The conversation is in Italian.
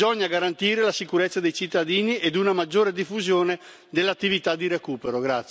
Bisogna garantire la sicurezza dei cittadini ed una maggiore diffusione dell'attività di recupero.